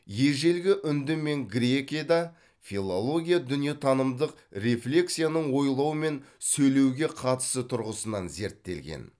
ежелгі үнді мен грекияда филология дүниетанымдык рефлексияның ойлау мен сөйлеуге қатысы тұрғысынан зерттелген